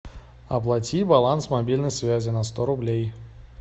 оплати баланс мобильной связи на сто рублей